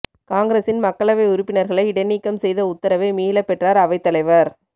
காங்கிரஸின் மக்களவை உறுப்பினர்களை இடைநீக்கம் செய்த உத்தரவை மீளப் பெற்றார் அவைத் தலைவர்